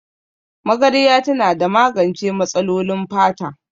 Magarya tana da magance matsalolin fata